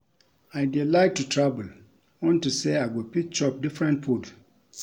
I dey like to travel unto say I go fit chop different food